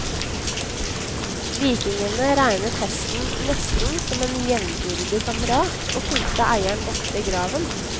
Vikingene regnet hesten nesten som en jevnbyrdig kamerat og fulgte eieren ofte i graven.